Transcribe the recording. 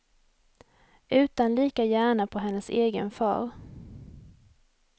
Utan lika gärna på hennes egen far.